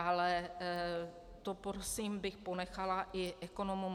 Ale to prosím bych ponechala i ekonomům.